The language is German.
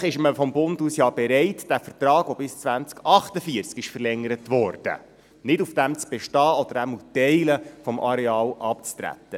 Vielleicht ist man vom Bund aus ja bereit, nicht auf diesem Vertrag zu bestehen, der bis 2048 verlängert wurde, oder wenigstens Teile des Areals abzutreten.